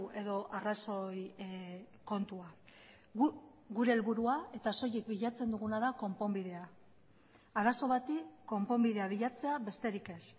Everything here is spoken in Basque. edo arrazoi kontua guk gure helburua eta soilik bilatzen duguna da konponbidea arazo bati konponbidea bilatzea besterik ez